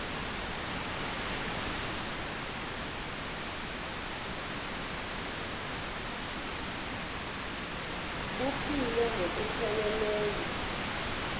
buphile ngokuphe leleyo